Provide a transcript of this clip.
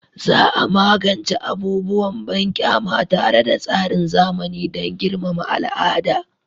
Za a magance abubuwan banƙyama tare da tsarin zamani dan girmama al'ada